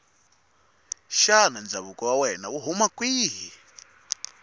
shana ndzakuvo wawena wuhhuna kwihhi